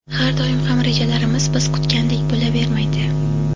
Har doim ham rejalarimiz biz kutgandek bo‘lavermaydi.